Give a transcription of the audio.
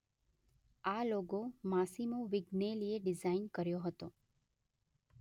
આ logo Massimo વિગ્નેલીએ design કર્યો હતો.